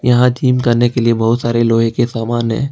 यहां जिम करने के लिए बहुत सारे लोहे के सामान है।